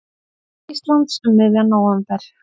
Íslands um miðjan nóvember.